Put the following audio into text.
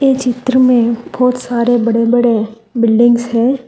चित्र में बहुत सारे बड़े बड़े बिल्डिंग्स है।